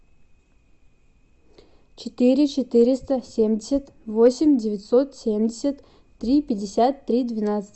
четыре четыреста семьдесят восемь девятьсот семьдесят три пятьдесят три двенадцать